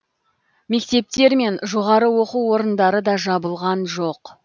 мектептер мен жоғары оқу орындары да жабылған жоқ